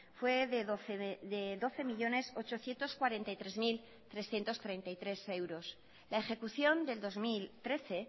fue de doce millónes ochocientos cuarenta y tres mil trescientos treinta y tres euros la ejecución del dos mil trece